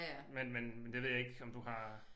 Men men det ved jeg ikke om du har